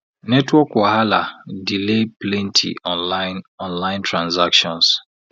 network wahala delay plenty online online transactions